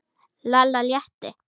Lalla létti.